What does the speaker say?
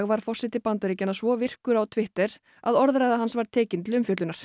var forseti Bandaríkanna svo virkur á Twitter að orðræða hans þar var tekin til umfjöllunar